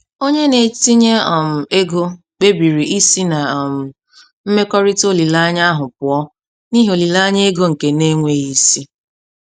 Onye na-etinye um ego kpebiri isi na um mmekọrịta olileanya ahụ pụọ n'ihi olileanya ego nke na-enweghị isi.